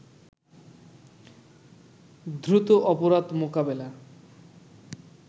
দ্রুত অপরাধ মোকাবেলা